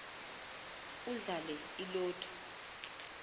udlale i lotto